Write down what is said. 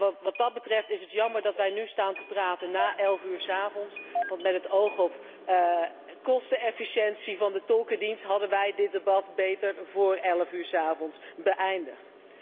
En wat dat betreft is het jammer dat wij nu staan praten na elf uur 's avonds, want met het oog op kostenefficiëntie van de tolkendienst hadden wij dit debat beter vóór elf uur 's avonds beëindigd.